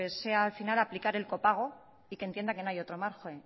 sea al final aplicar el copago y que entienda que no hay otro margen